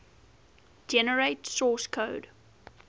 generate source code